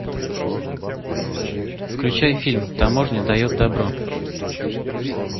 включай фильм таможня дает добро